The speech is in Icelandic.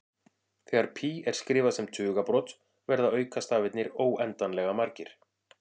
Þegar pí er skrifað sem tugabrot verða aukastafirnir óendanlega margir.